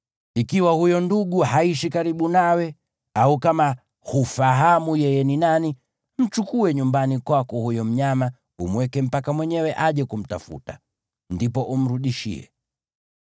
Ikiwa huyo ndugu haishi karibu nawe au kama hufahamu yeye ni nani, mchukue nyumbani kwako huyo mnyama umweke mpaka mwenyewe aje kumtafuta. Ndipo umrudishie.